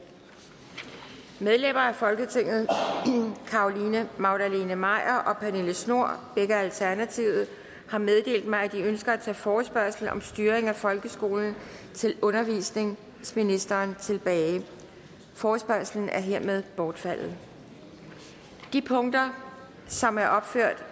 medlemmer af folketinget carolina magdalene maier og pernille schnoor har meddelt mig at de ønsker at tage forespørgsel om styring af folkeskolen til undervisningsministeren tilbage forespørgslen er hermed bortfaldet de punkter som er opført